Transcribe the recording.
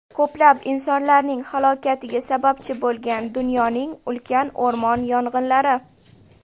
Ko‘plab insonlarning halokatiga sababchi bo‘lgan dunyoning ulkan o‘rmon yong‘inlari.